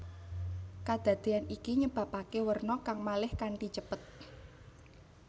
Kadadéyan iki nyebabaké werna kang malih kanthi cepet